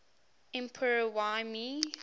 emperor y mei